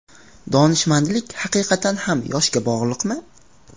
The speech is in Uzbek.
Donishmandlik haqiqatan ham yoshga bog‘liqmi?.